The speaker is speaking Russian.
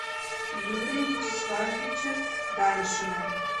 юрия вячеславовича даньшина